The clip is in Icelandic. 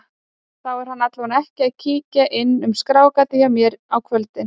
Þá er hann allavega ekki að kíkja inn um skráargatið hjá mér á kvöldin.